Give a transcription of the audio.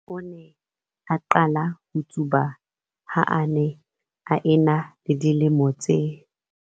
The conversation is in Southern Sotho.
O ne a qale ho tsuba ha a ne a ena le dilemo tse.